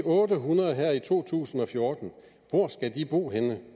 otte hundrede her i to tusind og fjorten hvor skal de bo henne